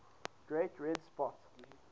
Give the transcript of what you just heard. great red spot